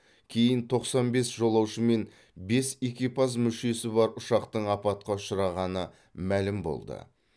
кейін тоқсан бес жолаушы мен бес экипаж мүшесі бар ұшақтың апатқа ұшырағаны мәлім болды